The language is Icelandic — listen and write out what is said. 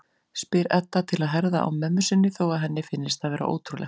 spyr Edda til að herða á mömmu sinni þó að henni finnist það vera ótrúlegt.